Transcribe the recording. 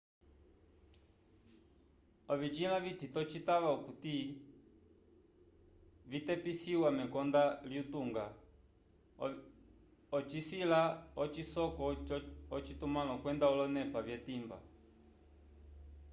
ovisila vitito citava okuti vitepisiwa mekonda lyutunga ocisila ocisoko ocitumãlo kwenda olonepa vyetimba